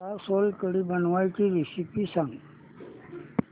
मला सोलकढी बनवायची रेसिपी सांग